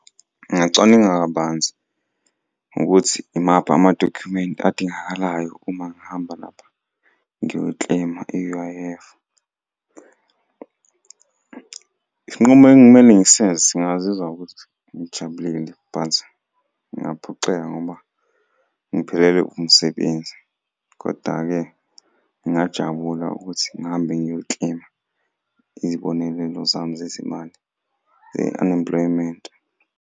Ngingacwaninga kabanzi ngokuthi imaphi amadokhumenti adingakalayo uma ngihamba lapha ngiyo-claim-a i-U_I_F. Isinqumo ekumele ngisenze singazizwa ukuthi ngijabulile but ngingaphoxeka ngoba ngiphelelwe umsebenzi, koda-ke ngingajabula ukuthi ngihambe ngiyo-claim-a izibonelelo zami zezimali e-unemployment.